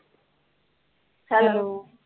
Hello